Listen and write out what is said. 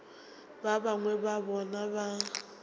ba bangwe ba bona ba